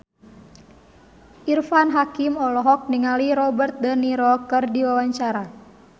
Irfan Hakim olohok ningali Robert de Niro keur diwawancara